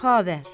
Xavər.